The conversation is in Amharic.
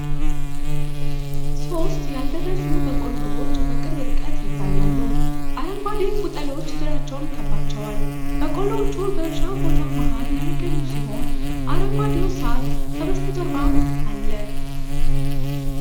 ሦስት ያልደረሱ በቆሎዎች በቅርብ ርቀት ይታያሉ። አረንጓዴ ቅጠሎች ዙሪያቸውን ከበዋቸዋል። በቆሎዎቹ በእርሻ ቦታ መሀል የሚገኙ ሲሆን፣ አረንጓዴው ሣር ከበስተጀርባ አለ።